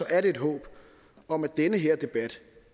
er det et håb om at den her debat